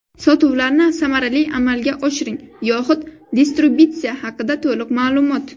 Sotuvlarni samarali amalga oshiring yoxud distributsiya haqida to‘liq ma’lumot.